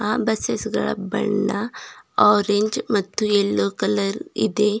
ಆ ಬುಸ್ಸೆಸ್ ಬಣ್ಣ ಆರೆಂಜ್ ಮತ್ತೆ ಯಲ್ಲೋ ಕಲರ್ ಇದೆ.